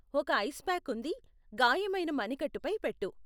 ఒక ice pack ఉంది, గాయమైన మణికట్టు పై పెట్టు.